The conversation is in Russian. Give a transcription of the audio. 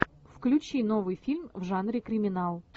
включи новый фильм в жанре криминал